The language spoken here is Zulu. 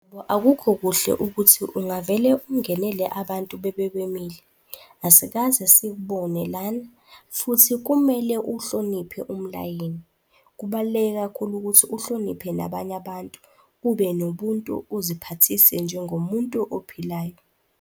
akukho kuhle ukuthi ungavele ungenele abantu bebe bemile. Asikaze sikubone lana futhi kumele uhloniphe umlayini. Kubaluleke kakhulu ukuthi uhloniphe nabanye abantu ube nobuntu, uziphathise njengomuntu ophilayo.